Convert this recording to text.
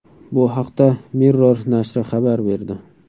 Bu haqda Mirror nashri xabar berdi .